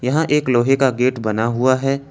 यहां एक लोहे का गेट बना हुआ है।